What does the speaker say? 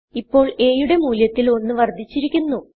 ഇപ്പോൾaയുടെ മൂല്യത്തിൽ 1 വർദ്ധിച്ചിരിക്കുന്നു